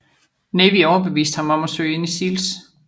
Navy overbeviste ham om at søge ind i SEALS